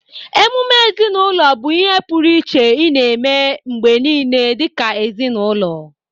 Ememe ezinụlọ bụ ihe pụrụ iche ị na-eme mgbe niile dịka ezinụlọ.